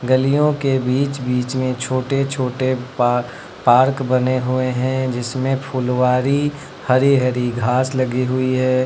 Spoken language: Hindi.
ग़लियों के बीच बीच में छोटे छोटे पा पार्क बने हुए हैं जिसमें फुलवारी हरी हरी घास लगी हुई है।